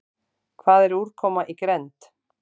Hvað er úrkoma í grennd?